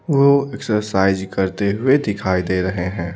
वो एक्सरसाइज करते हुए दिखाई दे रहे हैं।